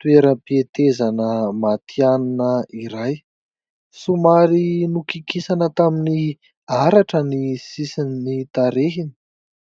toeram-pihetezana matihanina iray. Somary nokikisana tamin'ny haratra ny sisin'ny tarehiny.